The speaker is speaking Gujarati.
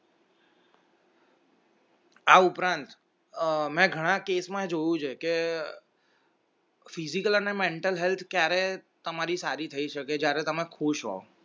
આ ઉપરાંત અમે ઘણા case માં જોયું છે કે physical ને mental health ક્યારે તમારી સારી થઈ શકે થઈ શકે જ્યારે તમે ખુશ હો